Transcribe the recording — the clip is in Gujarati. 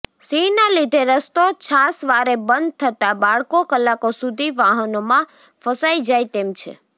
સિંહના લીધે રસ્તો છાશવારે બંધ થતાં બાળકો કલાકો સુધી વાહનોમાં ફસાઈ જાય તેમ છે